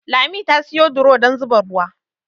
Lami ta siyo duro dan zuba ruwa